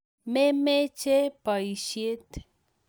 memeche boisyet